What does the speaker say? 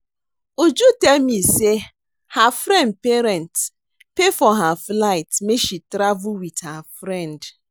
Uju tell me say her friend parent pay for her flight make she travel with her friend